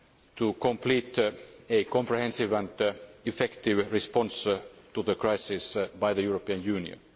to complete a comprehensive and effective response to the crisis by the European Union.